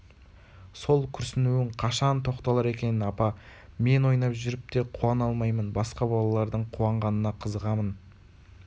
сол күрсінуің қашан тоқталар екен апа мен ойнап жүріп те қуана алмаймын басқа балалардың қуанғанына қызығамын